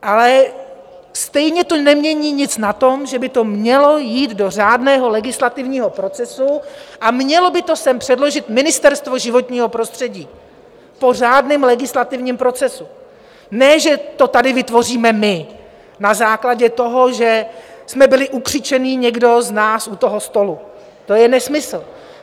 Ale stejně to nemění nic na tom, že by to mělo jít do řádného legislativního procesu a mělo by to sem předložit Ministerstvo životního prostředí po řádném legislativním procesu, ne že to tady vytvoříme my na základě toho, že jsme byli ukřičení někdo z nás u toho stolu, to je nesmysl.